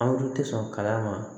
Anw dun tɛ sɔn kala ma